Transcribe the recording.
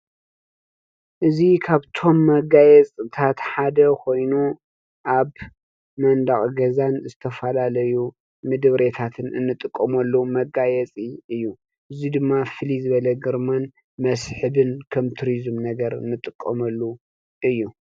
እዚ ካብቶም መጋየፅታት ሓደ ኾይኑ አብ መንደቕ ገዛን ዝተፈላለዩ ምድብሬታት እንጥቀመሉ መጋየፂ እዩ። እዙይ ድማ ፍልይ ዝበለ ግርማን መስሕብን ከም ቱሪዝም ነገር እንጥቀመሉ እዩ።